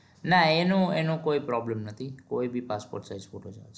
નાં એનું એનું કોઈ problem નથી કોઈ ભી passport size ફોટો ચાલે